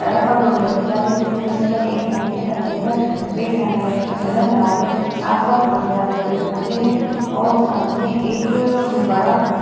सड़क पर दो व्यक्ति जाते हुए दिखाई दे रहे हैं। एक ने अपने कंधे पर बैग टाँगा है जिसका कलर लाल है। आसपास बोहोत सारे पेड़ पौधे हैं और सामने एक म्म बड़ा खम्म --